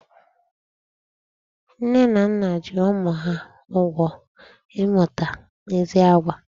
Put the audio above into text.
Nne na nna ji ụmụ ha ụgwọ ịmụta ezi àgwà.